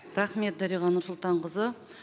рахмет дариға нұрсұлтанқызы